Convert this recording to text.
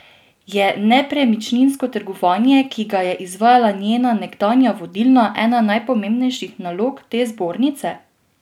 Je nepremičninsko trgovanje, ki ga je izvajala njena nekdanja vodilna, ena pomembnejših nalog te zbornice?